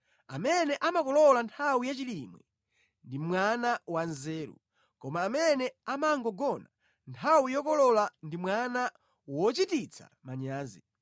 Amene amakolola nthawi yachilimwe ndi mwana wanzeru, koma amene amangogona nthawi yokolola ndi mwana wochititsa manyazi.